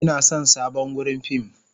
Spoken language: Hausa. Ina son sabon wurin fim.